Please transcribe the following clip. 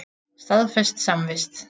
Staðfest samvist.